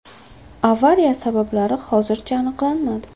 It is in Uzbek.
Avariya sabablari hozircha aniqlanmadi.